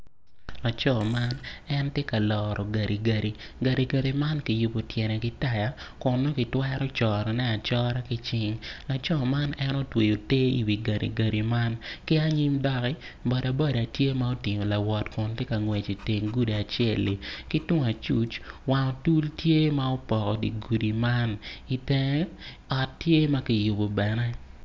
Laco man en tye ka loro gadigadi gadigadi man kiyubo tyene ki taya kun kitwero cone acura ki cing laco man en otweyo ter i wi gadigadi man ki anyim doki boda boda tye ma otingo lawot kun tye ka ngwec i teng gudi acelli ki tung acuc wang otul tye ma opoko dye gudi man i tenge ot tye ma ki yubo bene.